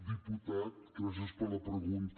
diputat gràcies per la pregunta